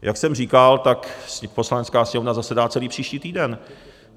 Jak jsem říkal, tak Poslanecká sněmovna zasedá celý příští týden.